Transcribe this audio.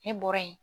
Ne bɔra yen